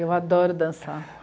Eu adoro dançar.